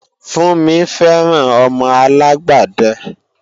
Funmi fẹ́ràn ọmọ alágbàdẹ